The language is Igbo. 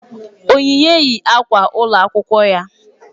Onyinye yi akwa ụlọ akwụkwọ ya